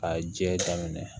K'a jɛ daminɛ